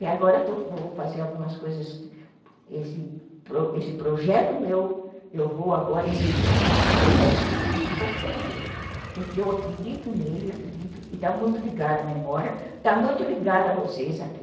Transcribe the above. E agora vou fazer algumas coisas, esse projeto meu, eu vou agora investir nesse projeto de qualquer jeito, porque eu acredito nele, acredito, e está muito ligada a memória, está muito ligada a vocês aqui.